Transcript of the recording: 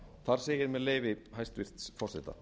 þar segir með leyfi hæstvirts forseta